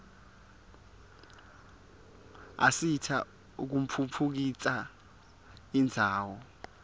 asita kutfutfukisa indzawo